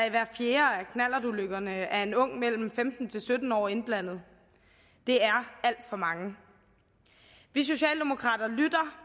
i hver fjerde knallertulykke er en ung mellem femten og sytten år indblandet det er alt for mange vi socialdemokrater lytter